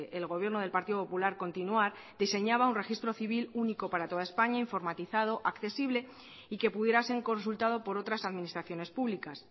el gobierno del partido popular continuar diseñaba un registro civil único para toda españa informatizado accesible y que pudiera ser consultado por otras administraciones públicas